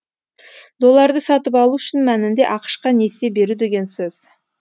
долларды сатып алу шын мәнінде ақш қа несие беру деген сөз